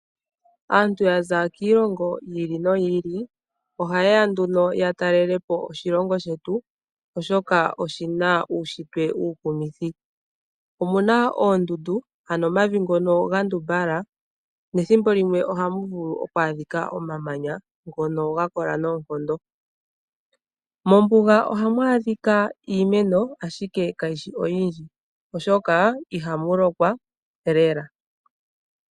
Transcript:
Aantu ya za kiilongo yi ili noyi ili ohaye ya nduno ya talele po oshilongo shetu oshoka oshi na uunshitwe uukumithi. Omu na oondundu, ano omavi ngono ga ndumbala, nethimbo limwe ohamu vulu okwaadhika omamanya ngono ga kola noonkondo. Mombuga ohamu adhika iimeno ihe kayi shi oyindji, oshoka ihamu lokwa lela.